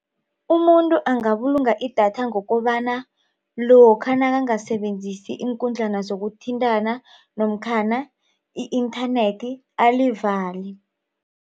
Umuntu angabulunga idatha ngokobana lokha nakangasebenzisi iinkundlana zokuthintana namkhana i-nternet alivale.